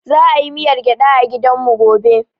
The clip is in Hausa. Za a yi miyar gyada a gidan mu gobe